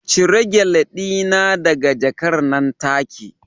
Cire Gele dina daga jakar nan take